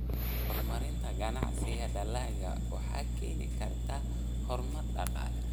Horumarinta ganacsiga dalagga waxay keeni kartaa horumar dhaqaale.